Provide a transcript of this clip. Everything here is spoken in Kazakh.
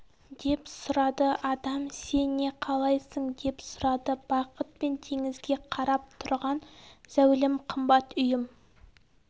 деп сұрады адам сен не қалайсың деп сұрады бақыт мен теңізге қарап тұрған зәулім қымбат үйім